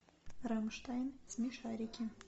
рамштайн смешарики